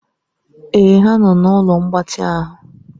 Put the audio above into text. Èè ha nọ na ụlọ mgbatị ahụ.